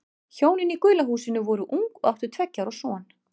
Hjónin í gula húsinu voru ung og áttu tveggja ára son.